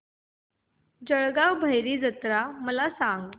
जळगाव भैरी जत्रा मला सांग